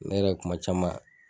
Ne yɛrɛ kuma caman.